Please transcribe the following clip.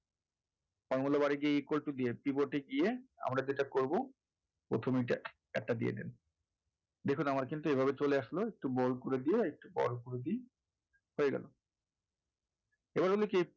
formula bar এ গিয়ে equal to দিয়ে keyboard এ গিয়ে আমরা যেটা করবো প্রথমে এটা একটা দিয়ে দেন দেখুন আমার কিন্তু এভাবে চলে আসলো bold করে দিয়ে একটু বড় করে দেই হয়ে গেলো এবার হলো কি,